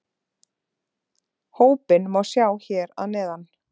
Hópinn má sjá hér að neðan